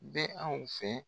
bɛ anw fɛ.